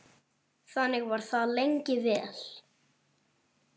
Þannig var það lengi vel.